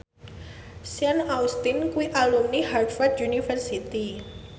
Sean Astin kuwi alumni Harvard university